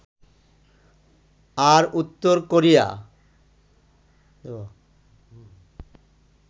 আর উত্তর কোরিয়া